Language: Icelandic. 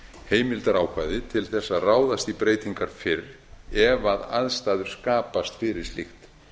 heimildarákvæði til að ráðast í breytingar fyrr ef aðstæður skapast fyrir slíkt